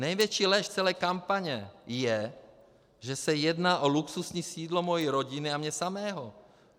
Největší lež celé kampaně je, že se jedná o luxusní sídlo mé rodiny a mě samého.